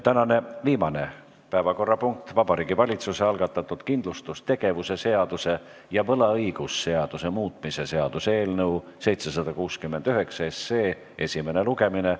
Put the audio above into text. Tänane viimane päevakorrapunkt on Vabariigi Valitsuse algatatud kindlustustegevuse seaduse ja võlaõigusseaduse muutmise seaduse eelnõu 769 esimene lugemine.